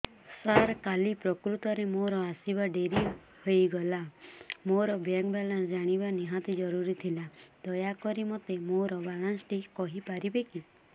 ସାର କାଲି ପ୍ରକୃତରେ ମୋର ଆସିବା ଡେରି ହେଇଗଲା ମୋର ବ୍ୟାଙ୍କ ବାଲାନ୍ସ ଜାଣିବା ନିହାତି ଜରୁରୀ ଥିଲା ଦୟାକରି ମୋତେ ମୋର ବାଲାନ୍ସ ଟି କହିପାରିବେକି